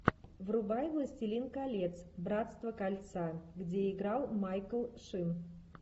врубай властелин колец братство кольца где играл майкл шин